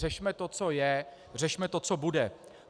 Řešme to, co je, řešme to, co bude.